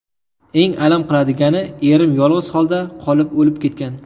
Eng alam qiladigani, erim yolg‘iz holda qolib o‘lib ketgan.